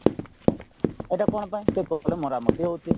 ଏଇଟା କଣ ପାଇଁ ସେ କହିଲେ ମରାମତି ହଉଛି